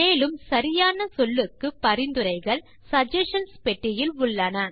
மேலும் சரியான சொல்லுக்கு பரிந்துரைகள் சகஸ்ஷன்ஸ் பெட்டியில் உள்ளன